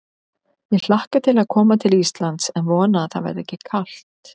Ég hlakka til að koma til Íslands en vona að það verði ekki kalt.